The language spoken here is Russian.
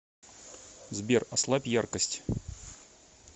сбер ослабь яркость